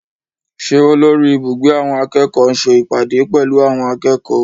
Ṣé olórí ibùgbé àwọn akẹ́kọ̀ọ́ ń ṣe ìpàdé pẹ̀lú àwọn akẹ́kọ̀ọ́?